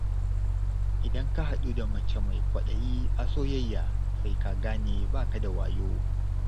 Idan ka haɗu da mace mai kwaɗayi a soyayya, sai ka gane ba ka da wayo.